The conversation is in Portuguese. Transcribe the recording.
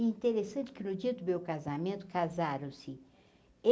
E interessante que no dia do meu casamento casaram-se.